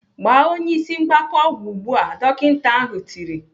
"Gbaa onye ịsị mgbaka ọgwụ ugbu a!" Dọkịta ahụ tiri.